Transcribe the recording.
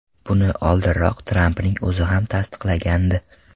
Buni oldinroq Trampning o‘zi ham tasdiqlagandi.